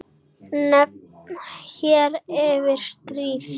Nefnd hér eftir: Stríð.